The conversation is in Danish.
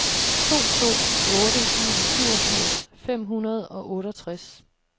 to to otte en syvogfirs fem hundrede og otteogtres